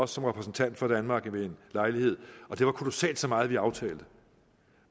som repræsentant for danmark ved en lejlighed og det var kolossalt så meget vi aftalte